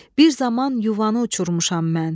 Bir zaman yuvanı uçurmuşam mən.